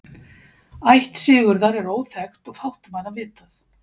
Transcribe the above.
ætt sigurðar er óþekkt og fátt um hann vitað